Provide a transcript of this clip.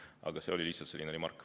Aga see oli lihtsalt remark.